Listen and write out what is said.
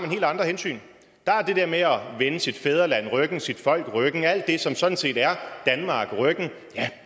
helt andre hensyn der er det der med at vende sit fædreland ryggen sit folk ryggen at vende alt det som sådan set er danmark ryggen